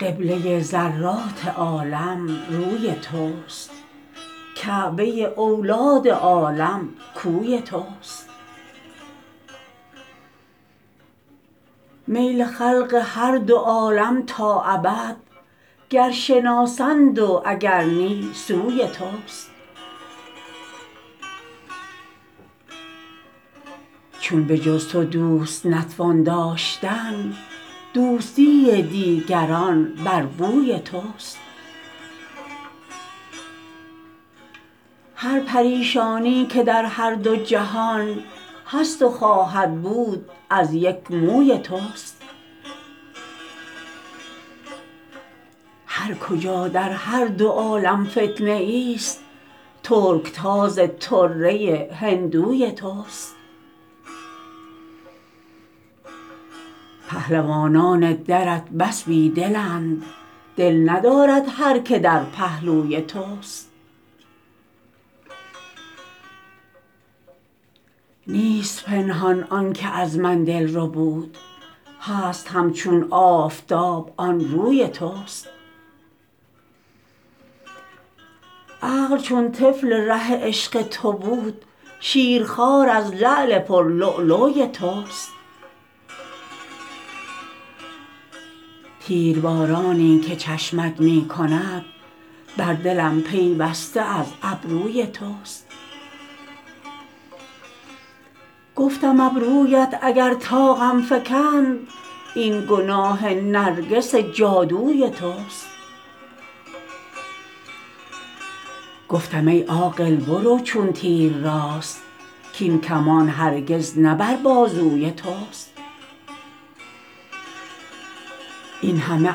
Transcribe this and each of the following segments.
قبله ذرات عالم روی توست کعبه اولاد آدم کوی توست میل خلق هر دو عالم تا ابد گر شناسند و اگر نی سوی توست چون به جز تو دوست نتوان داشتن دوستی دیگران بر بوی توست هر پریشانی که در هر دو جهان هست و خواهد بود از یک موی توست هر کجا در هر دو عالم فتنه ای است ترکتاز طره هندوی توست پهلوانان درت بس بی دلند دل ندارد هر که در پهلوی توست نیست پنهان آنکه از من دل ربود هست همچون آفتاب آن روی توست عقل چون طفل ره عشق تو بود شیرخوار از لعل پر لؤلؤی توست تیربارانی که چشمت می کند بر دلم پیوسته از ابروی توست گفتم ابرویت اگر طاقم فکند این گناه نرگس جادوی توست گفتم ای عاقل برو چون تیر راست کین کمان هرگز نه بر بازوی توست این همه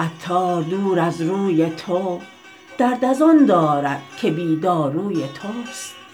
عطار دور از روی تو درد از آن دارد که بی داروی توست